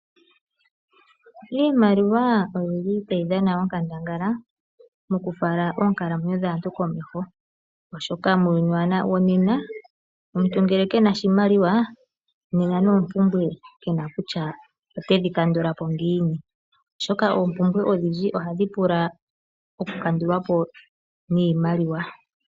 Iimaliwa oyi li tayi dhana onkandangala mokufala oonkalamwenyo dhaantu komeho, oshoka muuyuni wonena ngele omuntu ke na oshimaliwa, nena noompumbwe ke na kutya otedhi kandula po ngiini, oshoka oompumbwe odhindji ohadhi pula okukandulwa po niimaliwa.